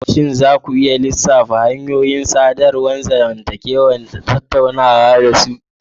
Shin za ku iya lissafa hanyoyin sadarwar zamantakewa da kuke tattaunawa da su?